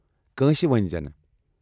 کٲنٛسہ ؤنۍ زینہٕ ۔